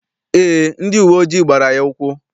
Eé, ndị uwe ojii gbara ya ụkwụ.